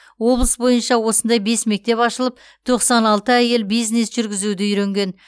облыс бойынша осындай бес мектеп ашылып тоқсан алты әйел бизнес жүргізуді үйренген